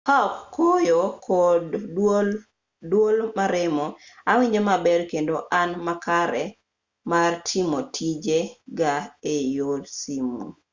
kaok koyo kod duol maremo awinjo maber kendo an makare mar timo tije ga eyor simu